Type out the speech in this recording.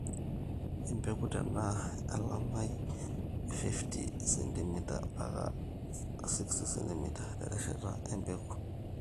Empeku tenaa elamai e 50ch-60cm terishat empeku